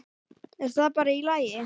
Er það bara í lagi?